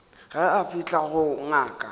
ge a fihla go ngaka